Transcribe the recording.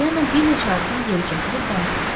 Polyanna bir neçə addım geri çəkilib dayandı.